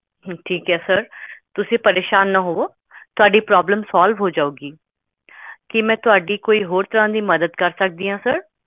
problem solve